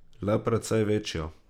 Le precej večjo.